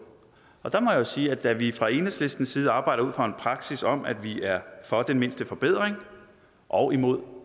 der må jeg sige at da vi fra enhedslistens side arbejder ud fra en praksis om at vi er for den mindste forbedring og imod